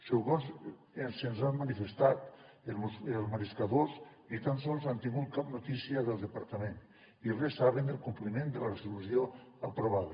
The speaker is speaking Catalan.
segons se’ns ha manifestat els mariscadors ni tan sols han tingut cap notícia del departament i res saben del compliment de la resolució aprovada